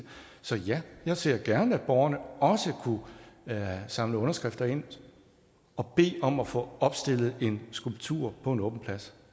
så ja jeg ser gerne at borgerne også kunne samle underskrifter ind og bede om at få opstillet en skulptur på en åben plads